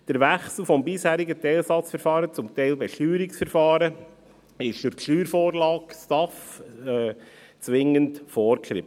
Der Wechsel vom bisherigen Teilsatzverfahren zum Teilbesteuerungsverfahren wird durch die Steuervorlage STAF zwingend vorgeschrieben.